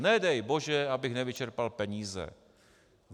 Nedej bože, abych nevyčerpal peníze!